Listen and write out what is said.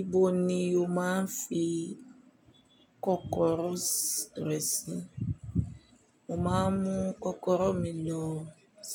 Ibo ni o máa ń fi kọ́kọ́rọ́ rẹ̀ sí? Mo máa ń mú kọ́kọ́rọ́ mi lọ